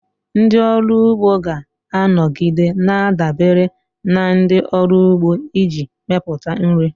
Ndị ọrụ ugbo ga-anọgide na-adabere na ndị ọrụ ugbo iji mepụta nri.